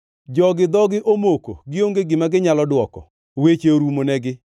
“Jogi dhogi omoko, gionge gima ginyalo dwoko; weche orumonegi.